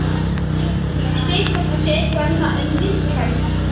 Hún vildi ekki trúa skýringum mínum og neitaði að fara.